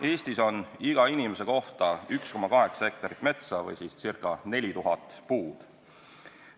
Eestis on iga inimese kohta 1,8 hektarit metsa ehk ca 4000 puud.